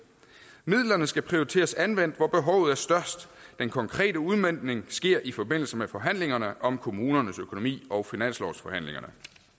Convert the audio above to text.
midlerne skal prioriteres anvendt hvor behovet er størst den konkrete udmøntning sker i forbindelse med forhandlingerne om kommunernes økonomi og finanslovsforhandlingerne